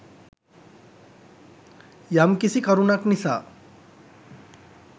යම්කිසි කරුණක් නිසා